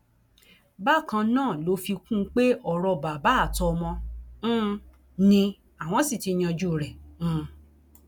bákan náà ló fi kún un pé ọrọ bàbá àtọmọ um ni àwọn sì ti yanjú rẹ um